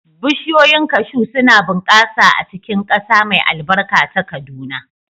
Bishiyoyin cashew suna bunƙasa a cikin ƙasa mai albarka ta Kaduna.